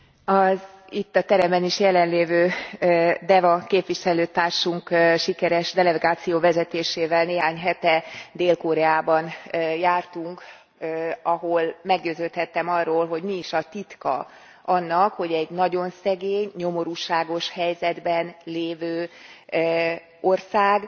Elnök Úr, az itt a teremben is jelen lévő Deva képviselőtársunk sikeres delegáció vezetésével néhány hete Dél Koreában jártunk, ahol meggyőződhettem arról, hogy mi is a titka annak, hogy egy nagyon szegény, nyomorúságos helyzetben lévő ország